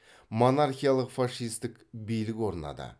монархиялық фашистік билік орнады